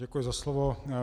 Děkuji za slovo.